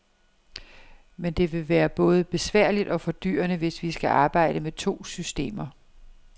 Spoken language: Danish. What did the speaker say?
Men det vil både være besværligt og fordyrende, hvis vi skal arbejde med to systemer.